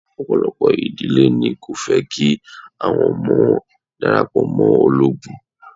Ọ̀pọ̀lọpọ̀ ìdílé ni kò fẹ́ kí àwọn ọmọ wọn darapọ̀ mọ́ ológun.